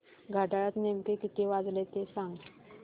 घड्याळात नेमके किती वाजले ते सांग